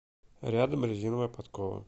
рядом резиновая подкова